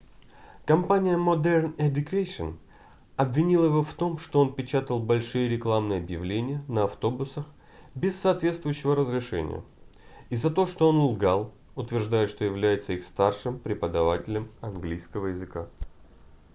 компания modern education обвинила его в том что он печатал большие рекламные объявления на автобусах без соответствующего разрешения и за то что он лгал утверждая что является их старшим преподавателем английского языка